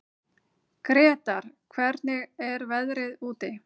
Gretar, hvernig er veðrið úti?